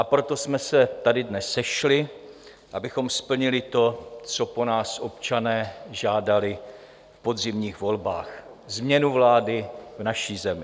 A proto jsme se tady dnes sešli, abychom splnili to, co po nás občané žádali v podzimních volbách - změnu vlády v naší zemi.